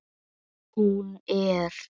Hún er.